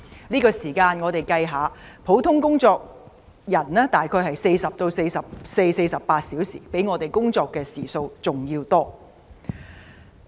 一般人工作的時數大約是每星期40至44或48小時，可見學生較我們工作的時數還要多。